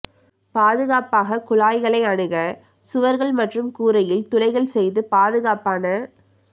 பாதுகாப்பாக குழாய்களை அணுக சுவர்கள் மற்றும் கூரையில் துளைகள் செய்து பாதுகாப்பான